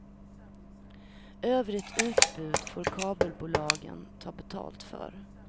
Övrigt utbud får kabelbolagen ta betalt för.